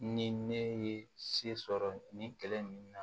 Ni ne ye se sɔrɔ nin kɛlɛ in na